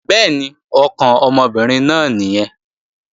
Bẹ́ẹ̀ni, ọkàn ọmọbìnrin náà nìyẹn